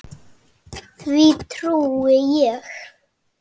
Því trúi ég.